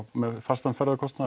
með fastan ferðakostnað